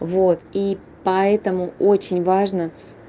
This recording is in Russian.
вот и поэтому очень важно